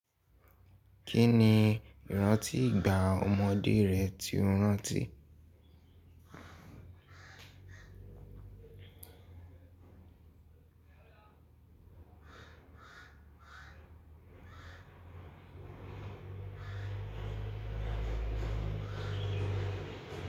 Kí ni ìrántí ìgbà ọmọdé rẹ tí o rántí?